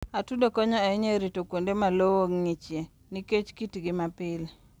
Atudo konyo ahinya e rito kuonde ma lowo ng'ichie nikech kitgi mapile.